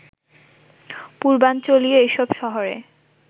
পূর্বাঞ্চলীয় এসব শহরে